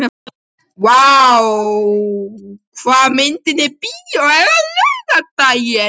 Váli, hvaða myndir eru í bíó á laugardaginn?